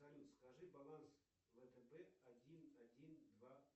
салют скажи баланс втб один один два